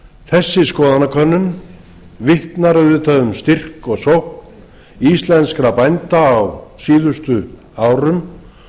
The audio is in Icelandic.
þessi skoðanakönnun vitnar auðvitað um styrk og sókn íslenskra bænda á síðustu árum